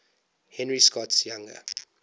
henry scott's younger